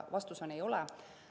Vastus on, et ei ole.